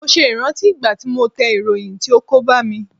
Mo ṣe ìrántí ìgbà tí mo tẹ ìròyìn tí ó kó bá mi.